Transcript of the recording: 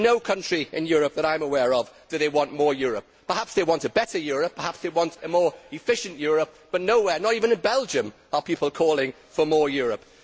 In no country in Europe that I am aware of, do they want more Europe, Perhaps they want a better Europe, perhaps they want a more efficient Europe, but nowhere not even in Belgium are people calling for more Europe.